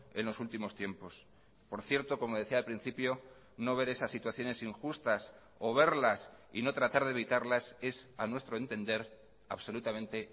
en los últimos tiempos por cierto como decía al principio no veré esas situaciones injustas o verlas y no tratar de evitarlas es a nuestro entender absolutamente